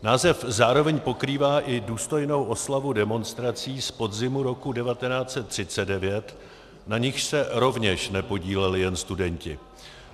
Název zároveň pokrývá i důstojnou oslavu demonstrací z podzimu roku 1939, na nichž se rovněž nepodíleli jen studenti.